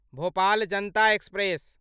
Bhopal Janata express